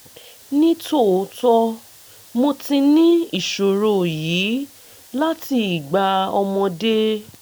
ní tòótọ́ mo ti ní ìṣòro yìí láti ìgbà ọmọdé